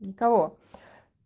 никого